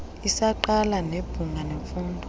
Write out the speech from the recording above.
isaqa nebhunga lemfundo